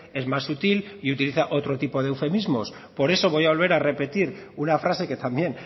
es más sutil y utiliza otro tipo de eufemismo por eso voy a volver a repetir una frase que también